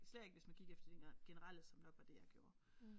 Især ikke hvis man gik efter de generelle som nok var det jeg gjorde